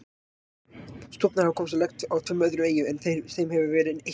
Stofnar hafa komist á legg á tveimur öðrum eyjum en þeim hefur verið eytt jafnóðum.